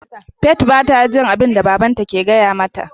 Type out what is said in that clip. "Faith" bata jin abinda babanta ke gaya mata.